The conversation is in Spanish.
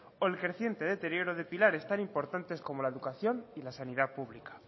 o el creciente deterioro de pilares tan importantes como la educación y la sanidad pública